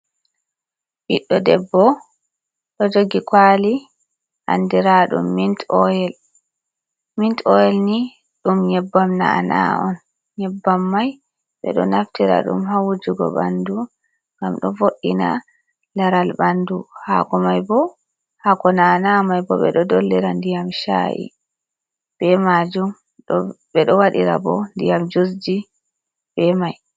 Ɓiɗɗo debbo ɗo jogi kaali andiraaɗum mint oil ni ɗum nyebbam na"ana on. Nyebbam mai ɓe ɗo naftira ɗum haa wujugo ɓanndu ngam ɗo vo"ina laral ɓanndu, haako may boo, haako na’ana mai boo ɓe ɗo dollira ndiyam caa’i bee maajum ɓe ɗo waɗira boo ndiyam jusji bee mai.